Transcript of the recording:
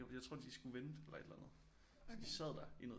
Jeg tror de skulle vente eller et eller andet så de sad der i noget